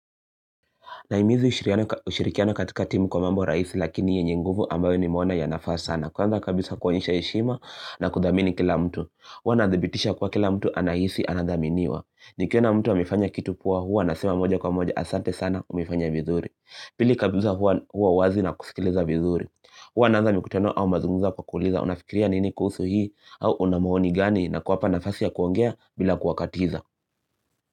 Nahimizi ushirikiano katika timu kwa mambo rahisi lakini yenye nguvu ambayo nimeona yanafaa sana. Kwanza kabisa kuonyesha heshima na kuthamini kila mtu. Huwa na dhibitisha ya kuwa kila mtu anahisi anathaminiwa. Nikiona mtu amefanya kitu poa huwa nasema moja kwa moja asante sana umefanya vizuri. Pili kabisa huwa wazi na kusikiliza vizuri. Huwa naaza mkutano au mazungumzo kwa kuuliza. Unafikiria nini kuhusu hii au una maoni gani na kuwapa nafasi ya kuongea bila kuwakatiza.